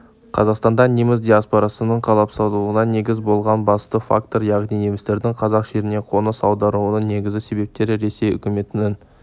қазақстанда неміс диаспорасының қалыптасуына негіз болған басты фактор яғни немістердің қазақ жеріне қоныс аударуының негізгі себептері ресей үкіметінің